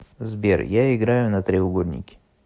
сбер я играю на треугольнике